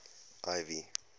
ivy